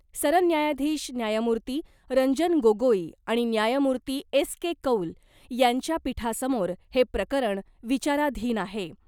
सरन्यायाधीश न्यायमूर्ती रंजन गोगोई आणि न्यायमूर्ती एस के कौल यांच्या पीठासमोर हे प्रकरण विचाराधीन आहे .